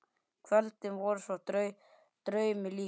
Kvöldin voru svo draumi líkust.